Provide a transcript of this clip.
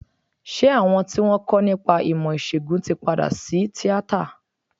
Ṣé àwọn tí wọ́n ń kọ́ nípa ìmọ̀ ìsègùn tí padà sí tíátà?